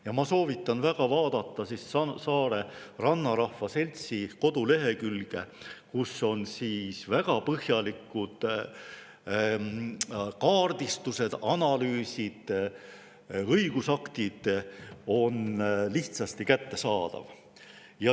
Ja ma soovitan väga vaadata Saare Rannarahva Seltsi kodulehekülge, kus on väga põhjalikud kaardistused, analüüsid ja õigusaktid lihtsasti kättesaadavad.